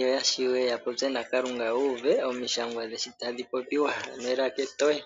yo ya shiwe ya popye naKalunga yo yu uve omishangwa dhe shi tadhi popi, ano elaka etoye.